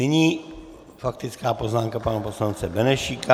Nyní faktická poznámka pana poslance Benešíka.